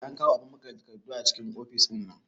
Eh an kawo abun maƙale takardu a cikin ofis ɗinnan